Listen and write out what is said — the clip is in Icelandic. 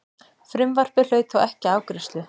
Frumvarpið hlaut þó ekki afgreiðslu.